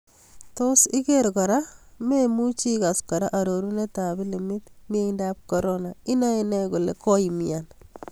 Tos iker kora: Maemuchi ikas kora arorunet ab pilimit, miendo ab Corona: Inaene kole koimnyan